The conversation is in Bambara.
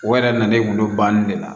O yɛrɛ na na ne gulo ban ne la